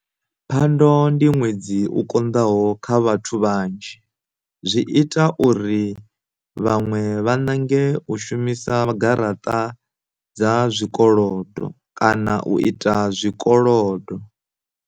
Phando ndi ṅwedzi u konḓaho kha vhathu vhanzhi, zwi ita uri vhaṅwe vha nange u shumisa garaṱa dza zwikolodo kana u ita tshikolodo.